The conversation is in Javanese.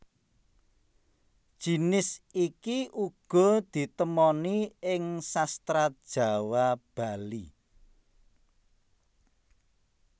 Jinis iki uga ditemoni ing Sastra Jawa Bali